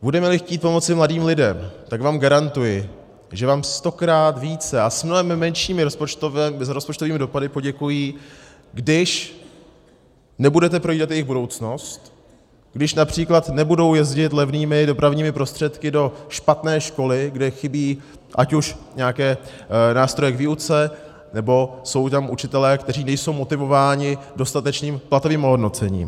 Budeme-li chtít pomoci mladým lidem, tak vám garantuji, že vám stokrát více a s mnohem menšími rozpočtovými dopady poděkují, když nebudete projídat jejich budoucnost, když například nebudou jezdit levnými dopravními prostředky do špatné školy, kde chybí ať už nějaké nástroje k výuce, nebo jsou tam učitelé, kteří nejsou motivováni dostatečným platovým ohodnocením.